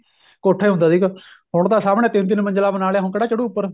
ਕੋਠੇ ਹੁੰਦਾ ਸੀਗਾ ਹੁਣ ਤਾਂ ਸਾਹਮਣੇ ਤਿੰਨ ਤਿੰਨ ਮੰਜਿਲਾ ਬਣਾ ਲਿਆ ਹੁਣ ਕਿਹੜਾ ਚੜੂ ਉਪਰ